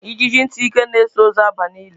Ijiji ntị ike na-eso ozu aba n'ili